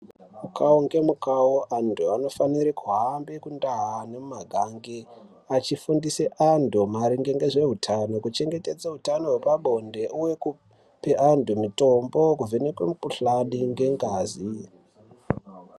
Mukuwo ngemukuwo antu anofanira kuhambe kundau Nemagange achifundisa antu maringe nezvehutano kuchengetedza hutano hwepabonde uyekupe antu mutombo kuvhenekwa mukuhlani nengazi.